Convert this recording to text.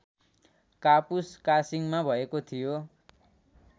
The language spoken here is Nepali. कापुसकासिङमा भएको थियो